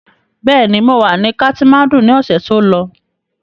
Bẹ́ẹ̀ ni, mọ wà ní katimáńdù ni ọ̀sẹ̀ tí ó lọ.